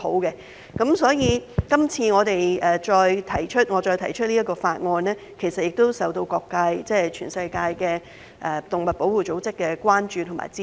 因此，今次我再提出這項法案，其實也受到各界及全世界的動物保護組織關注和支持。